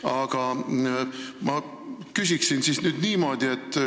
Aga ma küsin niimoodi.